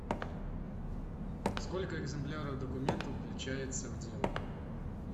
сколько экземпляров документов включается в дело